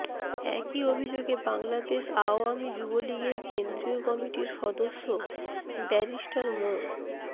একই অভিযোগে বাংলাদেশ আওয়ামী যুবলীগের কেন্দ্রীয় কমিটির সদস্য ব্যারিস্টার মো